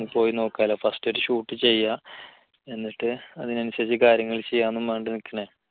ഒന്ന് പോയി നോക്കാമല്ലോ first ഒരു shoot ചെയ്യാം എന്നിട്ട് അതിനനുസരിച്ച് കാര്യങ്ങൾ ചെയ്യാന്നും പറഞ്ഞിട്ട് നിൽക്കാണ്